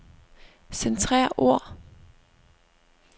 Centrer ord.